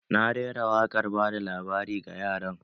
Na rera wakar bada labari ga yaran